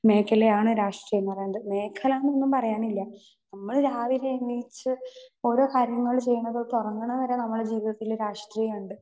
Speaker 2 മേഖലയാണ് രാഷ്ട്രീയം എന്ന് പറയണത്. മേഖല എന്നൊന്നും പറയാനില്ല നമ്മള് രാവിലെ എണീച്ച് ഓരോ കാര്യങ്ങള് ചെയ്യണത് തൊട്ട് ഉറങ്ങണ വരെ നമ്മടെ ജീവിതത്തില് രാഷ്ട്രീയം ഉണ്ട്.